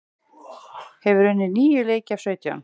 Hefur unnið níu leiki af sautján